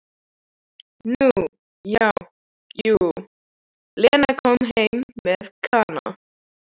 Nú já, jú, Lena kom heim með Kana.